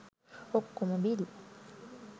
ඔක්කොම බිල්